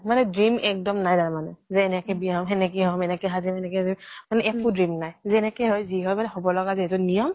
মানে dream এক্দম নাই তাৰ মানে যে এনেকে বিয়া হম, সেনেকে হম, এনেকে সাজিম তেনেকে একো dream নাই। যেনেকে হয় যি হয় মানে হব লগা যিহেতু নিয়ম